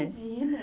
Imagina.